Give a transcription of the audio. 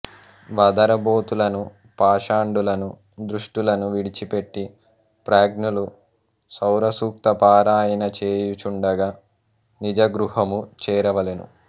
వదరబోతులను పాషండులను దుష్టులను విడిచిపెట్టి ప్రాజ్ఞులు సౌరసూక్తపారాయణ చేయుచుండగా నిజగృహము చేరవలెను